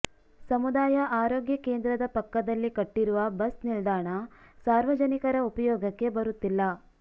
ಸಮುದಾಯ ಆರೋಗ್ಯ ಕೇಂದ್ರದ ಪಕ್ಕದಲ್ಲಿ ಕಟ್ಟಿರುವ ಬಸ್ ನಿಲ್ದಾಣ ಸಾರ್ವಜನಿಕರ ಉಪಯೋಗಕ್ಕೆ ಬರುತ್ತಿಲ್ಲ